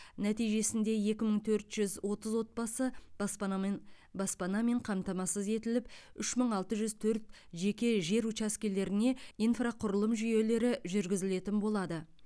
нәтижесінде екі мың төрт жүз отыз отбасы баспанамн баспанамен қамтамасыз етіліп үш мың алты жүз төрт жеке жер учаскелеріне инфрақұрылым жүйелері жүргізілетін болады